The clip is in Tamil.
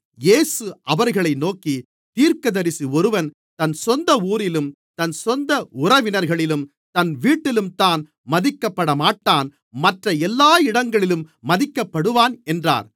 இயேசு அவர்களை நோக்கி தீர்க்கதரிசி ஒருவன் தன் சொந்த ஊரிலும் தன் உறவினர்களிலும் தன் வீட்டிலும்தான் மதிக்கப்படமாட்டான் மற்ற எல்லா இடங்களிலும் மதிக்கப்படுவான் என்றார்